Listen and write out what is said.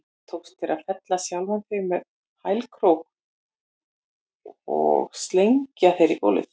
Tókst þér að fella sjálfan þig með hælkrók og slengja þér í gólfið?